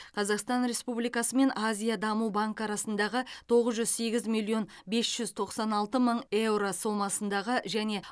қазақстан республикасы мен азия даму банкі арасындағы тоғыз жүз сегіз миллион бес жүз тоқсан алты мың еуро сомасындағы және